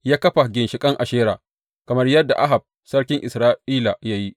Ya kafa ginshiƙin Ashera kamar yadda Ahab sarkin Isra’ila ya yi.